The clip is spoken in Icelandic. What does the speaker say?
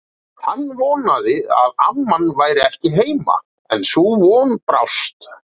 Hann vonaði að amman væri ekki heima, en sú von brást.